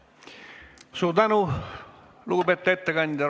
Suur tänu, lugupeetud ettekandja!